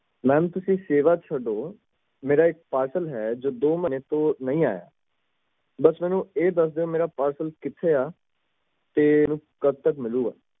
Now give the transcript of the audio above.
ma'am ਤੁਸੀਂ ਸੇਵਾ ਨੂੰ ਛੱਡੋ ਮੇਰਾ ਇੱਕ parcel ਏ ਜੋ ਦੋ ਮਹੀਨੇ ਤੋਂ ਨਹੀਂ ਆਯਾ ਬਸ ਮੈਨੂੰ ਇਹ ਦੱਸ ਦੋ ਮੇਰਾ parcel ਕਿਥੇ ਆ ਤੇ ਕੱਢ ਤਕ ਮਿਲੂਗਾ